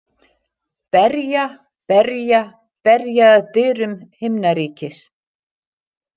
Berja, berja, berja að dyrum himnaríkis.